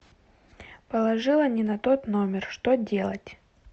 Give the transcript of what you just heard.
положила не на тот номер что делать